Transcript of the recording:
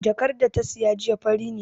Jakar da ta saya jiya fari ne